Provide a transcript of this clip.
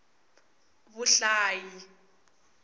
vuhlayi